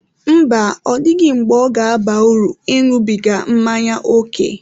Mba, ọ dịghị mgbe ọ ga-aba uru ịṅụbiga mmanya ókè.